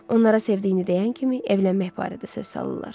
Onlara sevdiyini deyən kimi evlənmək barədə söz salırlar.